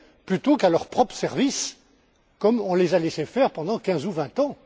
plutôt qu'à leur propre service, comme on le leur a laissé faire pendant quinze ou vingt ans.